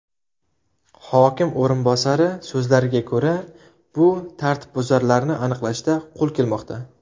Hokim o‘rinbosari so‘zlariga ko‘ra, bu tartibbuzarlarni aniqlashda qo‘l kelmoqda.